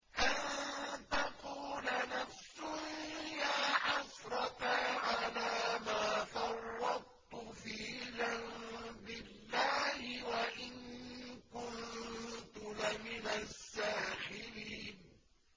أَن تَقُولَ نَفْسٌ يَا حَسْرَتَا عَلَىٰ مَا فَرَّطتُ فِي جَنبِ اللَّهِ وَإِن كُنتُ لَمِنَ السَّاخِرِينَ